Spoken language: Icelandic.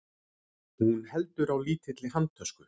Hún heldur á lítilli handtösku.